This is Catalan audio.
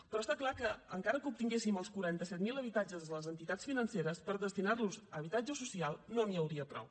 però està clar que encara que obtinguéssim els quaranta set mil habitatges de les entitats financeres per destinar los a habitatge social no n’hi hauria prou